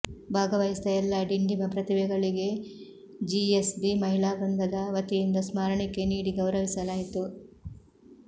ಭಾಗವಹಿಸಿದ ಎಲ್ಲಾ ಡಿಂಡಿಮ ಪ್ರತಿಭೆಗಳಿಗೆ ಜಿಎಸ್ಬಿ ಮಹಿಳಾ ವೃಂದದ ವತಿಯಿಂದ ಸ್ಮರಣಿಕೆ ನೀಡಿ ಗೌರವಿಸಲಾಯಿತು